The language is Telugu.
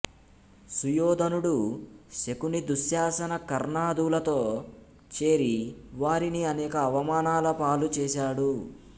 సుయోధనుడు శకుని దుశ్శాసన కర్ణాదులతో చేరి వారిని అనేక అవమానాల పాలు చేసాడు